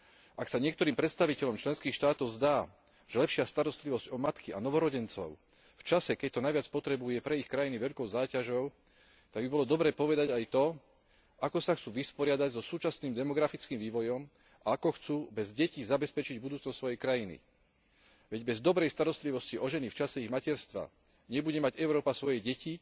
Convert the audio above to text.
Ak sa niektorým predstaviteľom členských štátov zdá, že lepšia starostlivosť o matky a novorodencov v čase, keď to najviac potrebujú, je pre ich krajiny veľkou záťažou, tak by bolo dobre povedať aj to, ako sa chcú vysporiadať so súčasným demografickým vývojom a ako chcú bez detí zabezpečiť budúcnosť svojej krajiny. Veď bez dobrej starostlivosti o ženu v čase jej materstva nebude mať Európa svoje deti